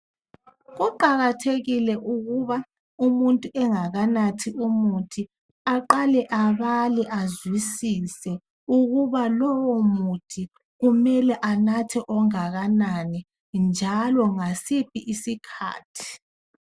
Kuqakathekile ukuba umuntu engakanathi umuthi aqale abale azwisise ukuba lowu muthi kumele anathe ongakanani njalo ngasiphi isikhathi.